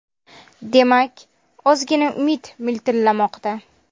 Demak, ozgina umid miltillamoqda.